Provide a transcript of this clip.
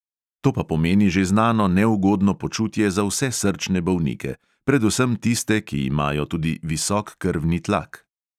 To pa pomeni že znano neugodno počutje za vse srčne bolnike, predvsem tiste, ki imajo tudi visok krvni tlak.